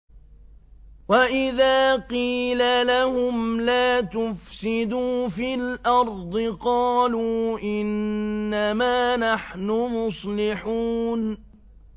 وَإِذَا قِيلَ لَهُمْ لَا تُفْسِدُوا فِي الْأَرْضِ قَالُوا إِنَّمَا نَحْنُ مُصْلِحُونَ